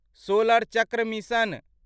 solar चक्र mission